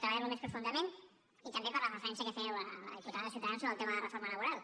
treballar lo més profundament i també per la referència que fèieu la diputada de ciutadans sobre el tema de la reforma laboral